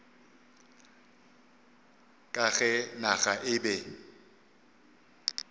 ka ge naga e be